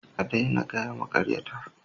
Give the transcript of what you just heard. A daina gaya maƙaryata